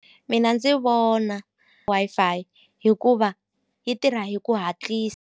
Mina ndzi vona Wi-Fi hikuva yi tirha hi ku hatlisa.